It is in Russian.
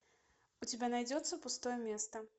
у тебя найдется пустое место